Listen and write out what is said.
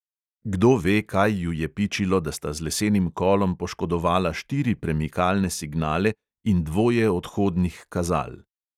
Kdo ve, kaj ju je pičilo, da sta z lesenim kolom poškodovala štiri premikalne signale in dvoje odhodnih kazal.